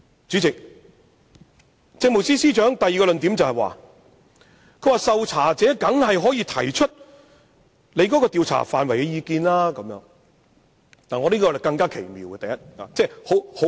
主席，政務司司長的第二個論點是，受查者當然可以提出對於調查範圍的意見，我認為這更奇妙。